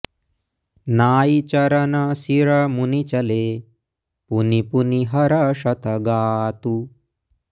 नाइ चरन सिर मुनि चले पुनि पुनि हरषत गातु